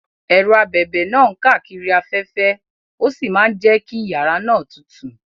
Ẹ̀rọ abẹ̀bẹ̀ náà ń káàkiri afẹ́fẹ́ ó sì máa ń jẹ́ kí yàrá náà tutù.